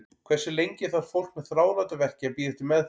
Hversu lengi þarf fólk með þráláta verki að bíða eftir meðferð?